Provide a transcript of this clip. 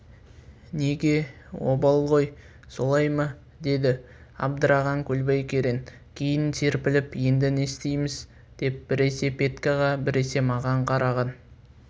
неге обал ғой солай ма деді абдыраған көлбай керең кейін серпіліп енді не істейміз деп біресе петькаға біресе маған қараған